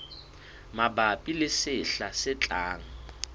mabapi le sehla se tlang